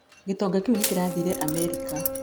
Gitonga kĩu nĩ kĩrathire Amerika.